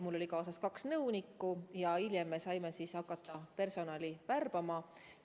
Mul oli kaasas kaks nõunikku ja hiljem me saime hakata personali värbama.